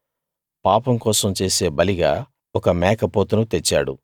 పాపం కోసం చేసే బలిగా ఒక మేకపోతును తెచ్చాడు